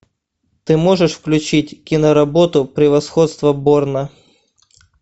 ты можешь включить киноработу превосходство борна